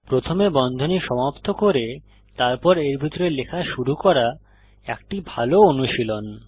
প্রথমে বন্ধনী সমাপ্ত করে তারপর এর ভিতরে লেখা শুরু করা একটি ভাল অনুশীলন